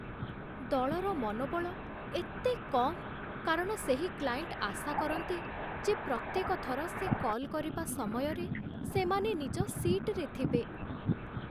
ଦଳର ମନୋବଳ ଏତେ କମ୍ କାରଣ ସେହି କ୍ଲାଏଣ୍ଟ ଆଶା କରନ୍ତି ଯେ ପ୍ରତ୍ୟେକ ଥର ସେ କଲ୍ କରିବା ସମୟରେ ସେମାନେ ନିଜ ସିଟ୍‌ରେ ଥିବେ